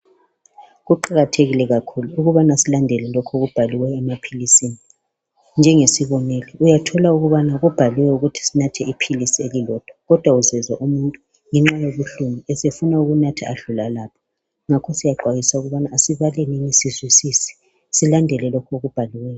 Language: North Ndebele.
Kuqakathekile kakhulu ukubana silandele lokho okubhaliweyo emaphilisini njengesibonelo isibonelo uyathola ukubana kubhaliwe ukuthi sinathe iphilisi elilodwa kodwa uzezwa umuntu ngenxa yobuhlungu esefuna ukunatha adlula lapho. Ngakho siyaxwayiswa ukubana sibalenini sizwisise silandele lokho okubhaliweyo.